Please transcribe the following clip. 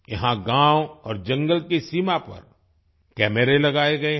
यहाँ गांव और जंगल की सीमा पर कैमरे लगाए गए हैं